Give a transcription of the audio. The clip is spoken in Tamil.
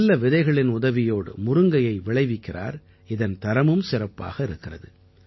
நல்ல விதைகளின் உதவியோடு முருங்கையை விளைவிக்கிறார் இதன் தரமும் சிறப்பாக இருக்கிறது